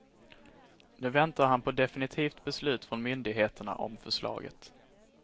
Nu väntar han på definitivt beslut från myndigheterna om förslaget.